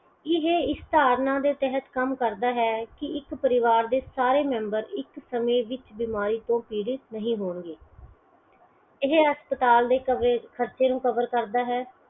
ਇਹ ਇਸ ਧਾਰਨਾ ਦੇ ਤਹਿਤ ਕੰਮ ਹੈ ਕਿ ਇੱਕ ਸਮੇ ਤੇ ਇੱਕ ਪਰਿਵਾਰ ਦੇ ਸਾਰੇ member ਇੱਕ ਸਮੇਂ ਬਿਮਾਰੀ ਤੋਂ ਪੀੜਿਤ ਨਹੀ ਹੋਣਗੇ